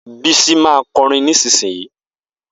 Bisi ma kọrin nísinsìnyí.